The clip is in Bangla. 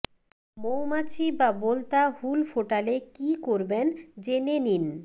মৌমাছি বা বোলতা হুল ফোটালে কী করবেন জেনে নিন